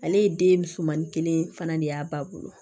Ale ye den surumannin kelen fana de y'a ba bolo